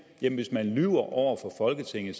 jamen hvis man lyver over for folketinget